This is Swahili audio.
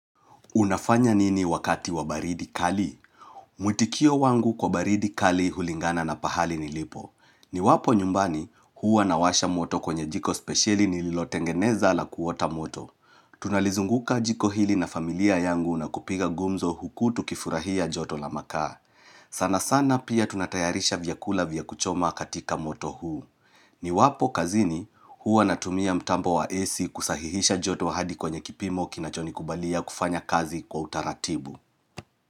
Unafanya nini wakati wa baridi kali? Mwitikio wangu kwa baridi kali hulingana na pahali nilipo. Niwapo nyumbani huwa nawasha moto kwenye jiko spesheli nililotengeneza la kuota moto. Tunalizunguka jiko hili na familia yangu na kupiga gumzo huku tukifurahia joto la makaa. Sana sana pia tunatayarisha vyakula vya kuchoma katika moto huu. Niwapo kazini huwa natumia mtambo wa AC kusahihisha joto hadi kwenye kipimo kinachonikubalia kufanya kazi kwa utaratibu.